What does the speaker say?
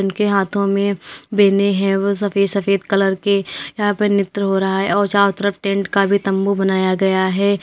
उनके हाथों में बेने हैं वह सफेद सफेद कलर के यहां पर नृत्य हो रहा है और चारों तरफ टेंट का भी तंबू बनाया गया है।